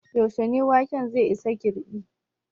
Yaushe ne waken zai isa girɓi?